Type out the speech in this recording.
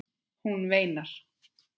Hún veinar.